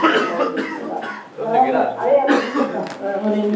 அது எல்லாம் இப்போத்தி மாதிரி பண்ணிக்குறேன் ,அது boat neck ஆ தைச்சி இருக்குறேன்.